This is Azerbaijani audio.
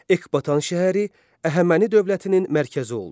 Ekbatana şəhəri Əhəməni dövlətinin mərkəzi oldu.